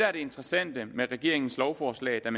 er det interessante med regeringens lovforslag er